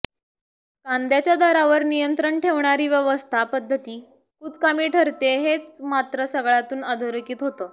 कांद्याच्या दरांवर नियंत्रण ठेवणारी व्यवस्था पद्धती कुचकामी ठरतेय हे मात्र सगळ्यातून अधोरेखित होत